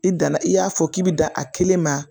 I danna i y'a fɔ k'i bɛ da a kelen ma